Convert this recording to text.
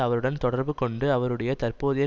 அவருடன் தொடர்பு கொண்டு அவருடைய தற்போதைய